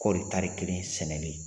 Kɔɔri tari kelen sɛnɛlen